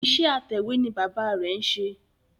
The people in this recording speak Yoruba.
Iṣẹ́ atẹ̀wé ni bàbá rẹ̀ ń ṣe